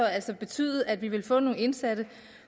altså betyde at vi så ville få nogle indsatte